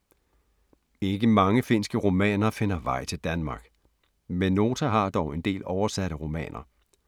Ikke mange finske romaner finder vej til Danmark, men Nota har dog en del oversatte romaner.